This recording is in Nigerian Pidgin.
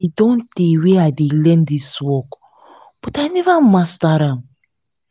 e don tey wey i dey learn dis work but i never master am